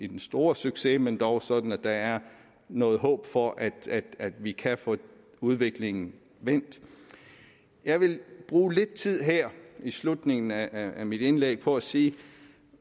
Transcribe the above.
den store succes men dog sådan at der er noget håb for at vi kan få udviklingen vendt jeg vil bruge lidt tid her i slutningen af af mit indlæg på at sige